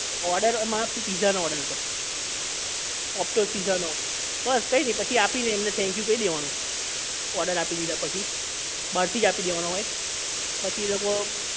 order આમાં તો pizza નો order હતો ઓકટેલ pizza નો બસ કઈ નહીં પછી આપી ને એમને thank you કહી દેવાનું order આપી દીધા પછી બહાર થી જ આપી દેવાનો હોય પછી એ લોકો